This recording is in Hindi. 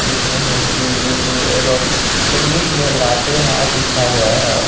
जिसमें हिंदी उर्दू एवम् इन्लिश में लातेहार लिखा गया हैं।